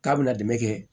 K'a bɛna dɛmɛ kɛ